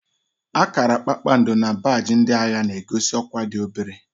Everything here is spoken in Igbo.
Akara kpakpando na baajị ndị agha na-egosi ọkwá dị obere